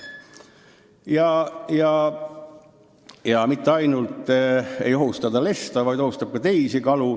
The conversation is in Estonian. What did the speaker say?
Ta ei ohusta mitte ainult lesta, vaid ohustab ka teisi kalu.